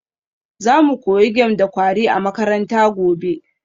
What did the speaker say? Za mu koyi game da kwari a makaranta gobe